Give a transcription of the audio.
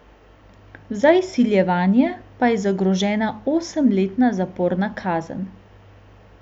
Za izsiljevanje pa je zagrožena osemletna zaporna kazen.